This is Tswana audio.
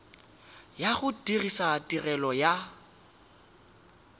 ya go dirisa tirelo ya